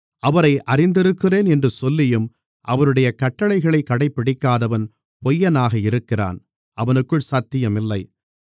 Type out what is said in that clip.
அவரை அறிந்திருக்கிறேன் என்று சொல்லியும் அவருடைய கட்டளைகளைக் கடைப்பிடிக்காதவன் பொய்யனாக இருக்கிறான் அவனுக்குள் சத்தியம் இல்லை